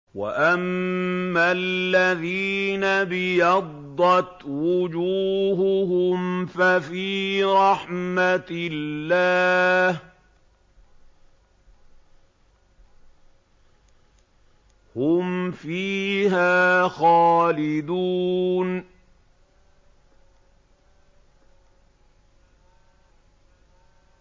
وَأَمَّا الَّذِينَ ابْيَضَّتْ وُجُوهُهُمْ فَفِي رَحْمَةِ اللَّهِ هُمْ فِيهَا خَالِدُونَ